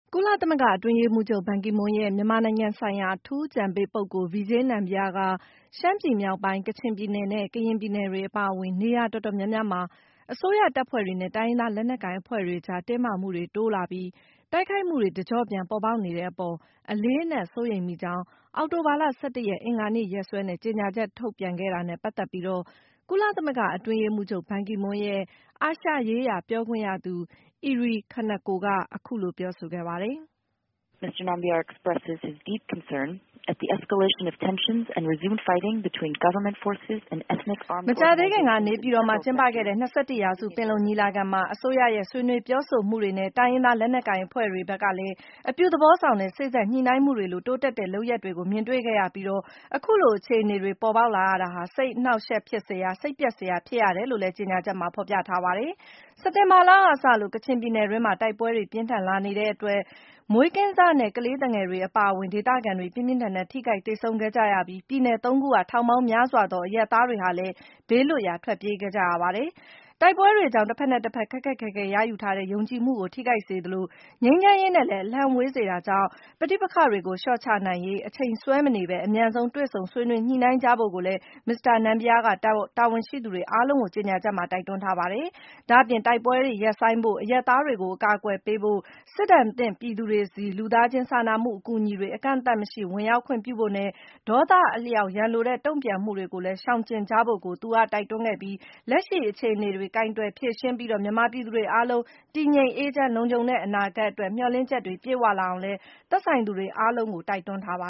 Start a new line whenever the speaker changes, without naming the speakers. ကုလသမဂ္ဂ အတွင်းရေးမှူးချုပ် ဘန်ကီမွန်းရဲ့ မြန်မာနိုင်ငံဆိုင်ရာ အထူးအကြံပေးပုဂ္ဂိုလ် Vijay Nambiar က - ရှမ်းပြည်မြောက်ပိုင်း၊ ကချင်ပြည်နယ်နဲ့ ကရင်ပြည်နယ်တွေ အပါအဝင် နေရာတော်တော်များများမှာ အစိုးရတပ်ဖွဲ့တွေနဲ့ တိုင်းရင်းသားလက်နက်ကိုင်အဖွဲ့တွေကြား တင်းမာမှုတွေ တိုးလာပြီး တိုက်ခိုက်မှုတွေ တကျော့ပြန်ပေါ်ပေါက်နေတဲ့အပေါ် အလေးအနက် စိုးရိမ်မိကြောင်း - အောက်တိုဘာလ ၁၁ ရက် အင်္ဂါနေ့ရက်စွဲနဲ့ ကြေညာချက်ထုတ်ပြန် ပြောဆိုခဲ့တာနဲ့ ပတ်သက်ပြီး - ကုလသမဂ္ဂ အတွင်းရေးမှူးချုပ် ဘန်ကီမွန်းရဲ့ အာရှရေးရာ ပြောခွင့်ရသူ Eri Kaneko က အခုလို ပြောဆိုခဲ့ပါတ
ယ်။ မကြာ
သေးခင်က နေပြည်တော်မှာ ကျင်းပခဲ့တဲ့ ၂၁ ရာစု ပင်လုံညီလာခံမှာ - အစိုးရရဲ့ ဆွေးနွေးပြောဆိုမှုတွေနဲ့ တိုင်းရင်းသား လက်နက်ကိုင် အဖွဲ့တွေ ဘက်ကလည်း အပြုသဘောဆောင်တဲ့ စေ့စပ်ညှိနှိုင်းမှုတွေလို တိုးတက်တဲ့ လုပ်ရပ်တွေကို မြင်တွေ့ခဲ့ရပြီး - အခုလို အခြေအနေတွေ ပေါ်ပေါက်ရတာဟာ စိတ်အနှောင့်အယှက်ဖြစ်စရာ၊ စိတ်ပျက်စရာ ဖြစ်ရတယ်လို့လည်း ကြေညာချက်မှာ ဖော်ပြထားပါတယ်။ စက်တင်ဘာလကစလို့ ကချင်ပြည်နယ်တွင်းမှာ တိုက်ပွဲတွေ ပြင်းထန်လာနေတဲ့အတွက် မွေးကင်းစနဲ့ ကလေးသူငယ်တွေ အပါအဝင် ဒေသခံတွေ ပြင်းပြင်းထန်ထန် ထိခိုက်သေဆုံးခဲ့ကြရပြီး ပြည်နယ် ၃ ခုက ထောင်ပေါင်းများစွာသော အရပ်သားတွေလည်း ဘေးလွတ်ရာ ထွက်ပြေးခဲ့ကြရတာပါ။ တိုက်ပွဲတွေကြောင့် တဘက်နဲ့တဘက် ခက်ခက်ခဲခဲ ရယူထားတဲ့ ယုံကြည်မှုကို ထိခိုက်စေသလို၊ ငြိမ်းချမ်းရေးနဲ့လည်း အလှမ်းဝေးစေတာကြောင့် - ပဋိပက္ခတွေကို လျှော့ချနိုင်ရေး အချိန်ဆွဲမနေဘဲ အမြန်ဆုံး တွေ့ဆုံ ဆွေးနွေး ညှိနှိုင်းကြဖို့ကိုလည်း မစ္စတာ Nambiar က တာဝန်ရှိသူအားလုံးကို ကြေညာချက်မှာ တိုက်တွန်းထားတာပါ။ ဒါ့အပြင် တိုက်ပွဲတွေရပ်ဆိုင်းဖို့၊ အရပ်သားတွေကို အကာအကွယ်ပေးဖို့၊ စစ်ဒဏ်သင့်ပြည်သူတွေဆီ လူသားချင်း စာနာမှု အကူအညီတွေ ကန့်သတ်မှုမရှိ ဝင်ရောက်ခွင့်ပြုဖို့နဲ့ ဒေါသအလျောက် ရန်လိုတဲ့ တုံ့ပြန်မှုတွေကိုလည်း ရှောင်ကြဉ်ကြဖို့ကို သူက တိုက်တွန်းခဲ့သလို - လက်ရှိ အခြေအနေတွေကို ကိုင်တွယ်ဖြေရှင်းပြီး - မြန်မာပြည်သူတွေအားလုံး တည်ငြိမ်၊ အေးချမ်း၊ လုံခြုံတဲ့ အနာဂတ်အတွက် မျှော်လင့်ချက်တွေ ပြည့်ဝလာအောင်လည်း သက်ဆိုင်သူတွေ အားလုံးကို တိုက်တွန်းထားပ